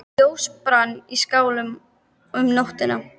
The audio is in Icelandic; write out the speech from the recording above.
Ljós brann í skálanum um nóttina.